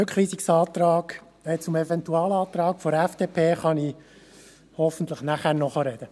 Zum Eventualantrag der FDP kann ich hoffentlich nachher noch sprechen.